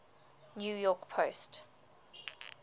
new york post